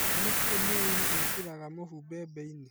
nĩ kĩĩ mũrĩmĩ ekĩraga mũhu bembeinĩ